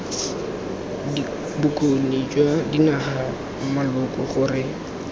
bokgoni jwa dinaga maloko gore